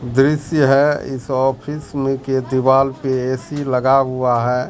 दृश्य है इस ऑफिस में के दीवाल पे ए_सी लगा हुआ है।